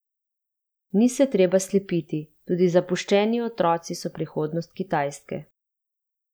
Ni se treba slepiti, tudi zapuščeni otroci so prihodnost Kitajske.